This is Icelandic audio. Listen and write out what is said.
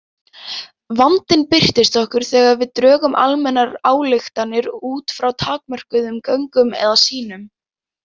Vandinn birtist okkur þegar við drögum almennar ályktanir út frá takmörkuðum gögnum eða sýnum.